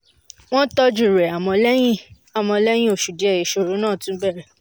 wọ́n tọ́jú rẹ̀ àmọ́ lẹ́yìn àmọ́ lẹ́yìn oṣù díẹ̀ ìṣòro náà tún bẹ̀rẹ̀